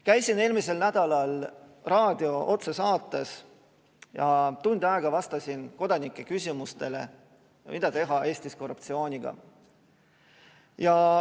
Käisin eelmisel nädalal raadio otsesaates ja tund aega vastasin kodanike küsimustele, mida teha Eestis korruptsiooniga.